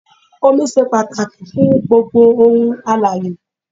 Omi ṣe pàtàkì fún gbogbo òun alààyè.